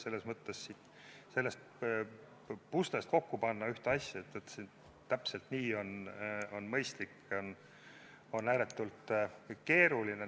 Selles mõttes on sellest puslest ühte asja kokku panna, et täpselt nii on mõistlik, ääretult keeruline.